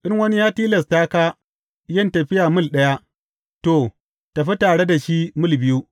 In wani ya tilasta ka yin tafiya mil ɗaya, to, tafi tare da shi mil biyu.